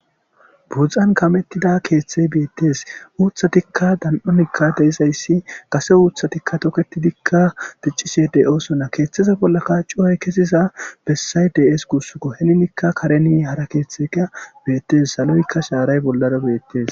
budzzan kamettida keeththey beettes uuthatikka dan7onikka deizayssi kase uuthatikka toketidikka ticcisedey oosonna keeththeza bollaka cuway kesiza bessay deees kussukko hennikka kareni hara keeththeka beettes saloykka shaaray bollara beettes